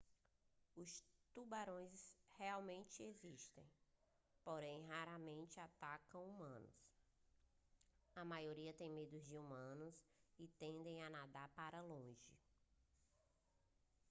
os tubarões realmente existem porém raramente atacam humanos a maioria tem medo de humanos e tende a nadar para longe